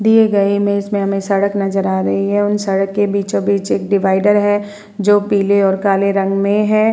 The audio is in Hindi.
दिए गए इमेज में हमें सड़क नजर आ रही है। उन सड़क के बीचो-बीच एक डिवाइडर जो पीले और काले रंग में है।